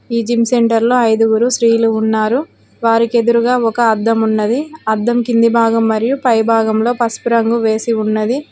ఈ జిమ్ సెంటర్లో ఐదుగురు స్త్రీలు ఉన్నారు వారికి ఎదురుగా ఒక అద్దం ఉన్నది అద్దం కింది భాగం మరియు పై భాగంలో పసుపు రంగు వేసి ఉన్నది.